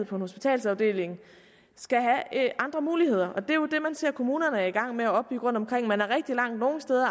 hospitalsafdeling skal have andre muligheder det er jo det man ser kommunerne er i gang med at opbygge rundtomkring man er rigtig langt nogle steder